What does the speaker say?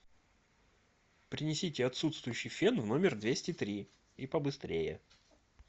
принесите отсутствующий фен в номер двести три и побыстрее